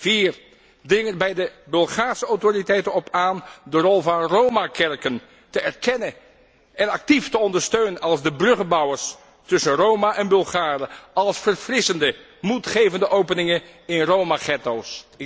Vier dring er bij de Bulgaarse autoriteiten op aan de rol van Roma kerken te erkennen en actief te ondersteunen als de bruggenbouwers tussen Roma en Bulgaren, als verfrissende, moedgevende openingen in Roma getto's.